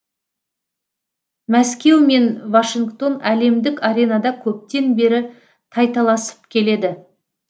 мәскеу мен вашингтон әлемдік аренада көптен бері тайталасып келеді